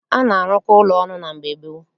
A na-arụkọ ụlọ ọnụ mgbe gboo